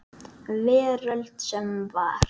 Veröld sem var.